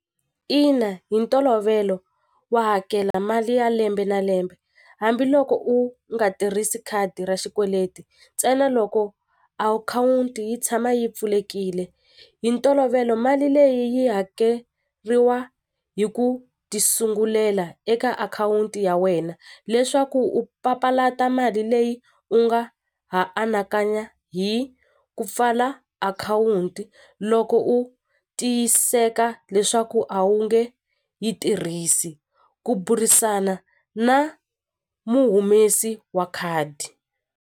Ina hi ntolovelo wa hakela mali ya lembe na lembe hambiloko u nga tirhisi khadi ra xikweleti ntsena loko akhawunti yi tshama yi pfulekile hi ntolovelo mali leyi yi hakeriwa hi ku ti sungulela eka akhawunti ya wena leswaku u papalata mali leyi u nga ha anakanya hi ku pfala akhawunti loko u tiyiseka leswaku a wu nge yi tirhisi ku burisana na muhumesi wa khadi.